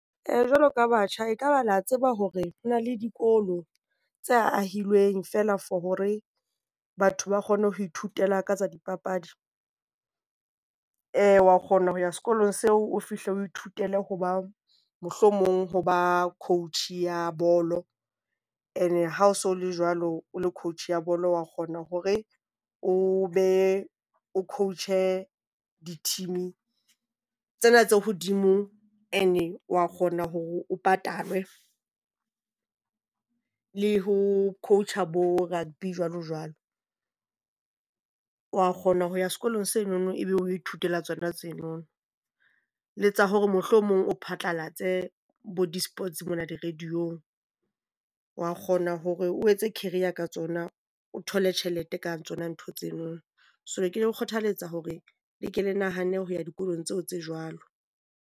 Ee jwalo ka batjha, ekaba la tseba hore na le dikolo tse ahilweng feela for hore batho ba kgone ho ithutela ka tsa dipapadi? , wa kgona ho ya sekolong seo o fihle o ithutele ho ba mohlomong ho ba coach ya bolo and ha o so le jwalo o le coach ya bolo, wa kgona hore o be o coach-e di-team-e tsena tse hodimo and-e wa kgona hore o patalwe le ho coach-a bo rugby jwalo-jwalo. Wa kgona ho ya sekolong senono, e be ho ithutela tsona tseno. Le tsa hore mohlomong o phatlalatse bo di-sports mona di-radio-ng. Wa kgona hore o etse career ka tsona, o thole tjhelete ka tsona ntho tseno. So ke le kgothaletsa hore le ke le nahane ho ya dikolong tseo tse jwalo.